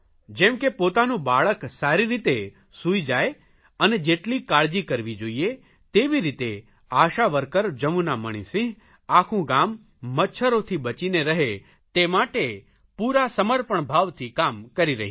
જેમ કે પોતાનું બાળક સારી રીતે સૂઇ જાય અને જેટલી કાળજી કરવી જોઇએ તેવી રીતે આશા વર્કર જમુના મણિસિંહ આખું ગામ મચ્છરોથી બચીને રહે તે માટે પૂરા સમર્પણ ભાવથી કામ કરી રહી છે